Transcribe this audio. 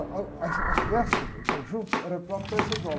Ah, ah, uh, ah, essa orquestra, o conjunto, era próprio da estadual.